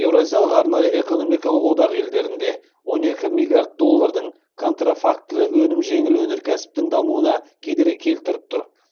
еуразиялық арнайы экономикалық одақ елдерінде он екі миллиард доллардың контрафактілі өнім жеңіл өнеркәсіптің дамуына кедергі келтіріп тұр